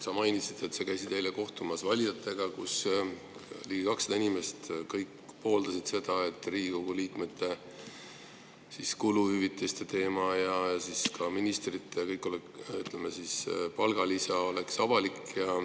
Sa mainisid, et sa käisid eile kohtumas valijatega ning kõik ligi 200 inimest pooldasid seda, et Riigikogu liikmete kuluhüvitiste teema ja ka ministrite palgalisa oleks avalik.